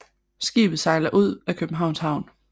Skibet sejler ud af Københavns Havn